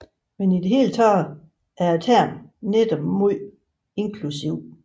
Men i det hele taget er termen netop meget inklusiv